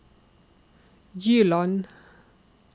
Gyland